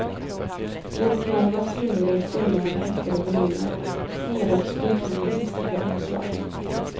Bokmalarnas hyllor är fulla av häftade volymer, sneda och spruckna med hiskliga omslag.